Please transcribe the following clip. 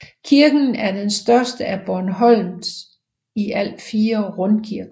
Kirken er den største af Bornholms i alt fire rundkirker